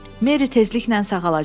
Mary tezliklə sağalacaq.